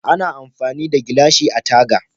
Ana amfani da gilashi a taga.